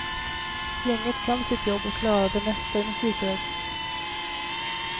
Gänget kan sitt jobb och klarar det mesta i musikväg.